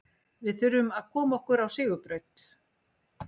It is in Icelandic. Við þurfum að koma okkur á sigurbraut.